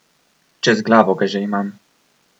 Čez glavo ga že imam!